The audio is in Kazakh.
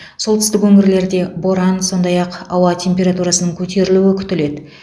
солтүстік өңірлерде боран сондай ақ ауа температурасының көтерілуі күтіледі